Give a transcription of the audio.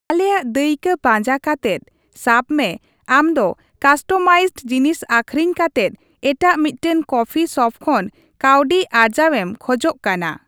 ᱟᱞᱮᱭᱟᱜ ᱫᱟᱹᱭᱠᱟᱹ ᱯᱟᱸᱡᱟ ᱠᱟᱛᱮᱫ, ᱥᱟᱵ ᱢᱮ ᱟᱢᱫᱚ ᱠᱟᱥᱴᱚᱢᱟᱭᱤᱡᱰ ᱡᱤᱱᱤᱥ ᱟᱹᱠᱷᱨᱤᱧ ᱠᱟᱛᱮᱫ ᱮᱴᱟᱜ ᱢᱤᱫᱴᱟᱝ ᱠᱚᱯᱷᱤ ᱥᱚᱯ ᱠᱷᱚᱱ ᱠᱟᱹᱣᱰᱤ ᱟᱨᱡᱟᱣᱮᱢ ᱠᱷᱚᱡᱚᱜ ᱠᱟᱱᱟ ᱾